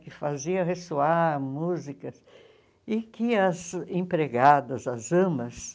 Que fazia ressoar músicas e que as empregadas, as amas,